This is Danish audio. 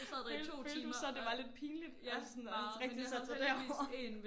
Følte du følte du så det var lidt pinligt at sådan at rigtig sat sig derover